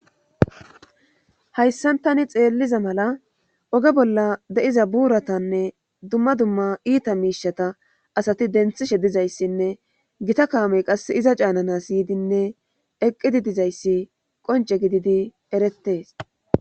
Hayssan tani xeelliza mala oge bolla de'iza buuratanne dumma dumma iita miishata asati denthishe dizayssinne gita kaamey qas iza caanana yidinne eqqidi dizayssi qonce gididi erettees